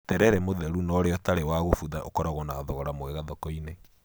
Terere mũtheru na ũrĩa ũtari wa gũbutha ũkoragwo na thogora mwega thoko-inĩ.